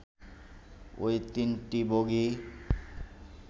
ওই তিনটি বগি